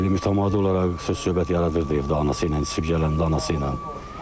Elə mütəmadi olaraq söz-söhbət yaradırdı evdə anası ilə içki gələndə anası ilə.